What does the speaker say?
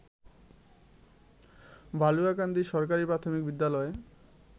বালুয়াকান্দি সরকারি প্রাথমিক বিদ্যালয়